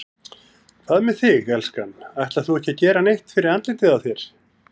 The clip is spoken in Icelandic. Hvað með þig, elskan. ætlar þú ekki að gera neitt fyrir andlitið á þér?